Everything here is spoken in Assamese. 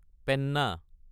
পেন্না